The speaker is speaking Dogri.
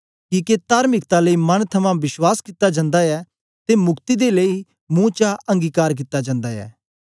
किके तार्मिकता लेई मन थमां विश्वास कित्ता जन्दा ऐ ते मुक्ति दे लेई मुंह चा अंगीकार कित्ता जन्दा ऐ